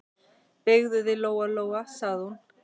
Beygðu þig, Lóa-Lóa, sagði hún.